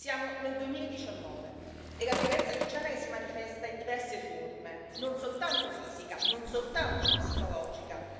Siamo nel 2019 e la violenza di genere si manifesta in diverse forme, non soltanto fisica, non soltanto psicologica.